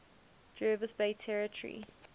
jervis bay territory